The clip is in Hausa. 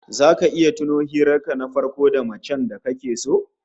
Zaka iya tuno hirar ka na farko da macen da kake so?